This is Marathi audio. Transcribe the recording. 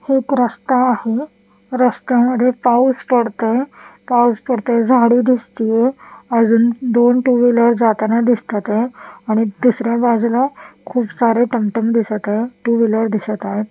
एक रस्ता आहे रस्त्यामध्ये पाऊस पडतोय पाऊस पडतोय झाडी दिसतीय अजून दोन टू व्हीलर जाताना दिसतात आहे आणि दुसऱ्या बाजूला खूप सारे टमटम दिसत आहे टू व्हीलर दिसत आहे.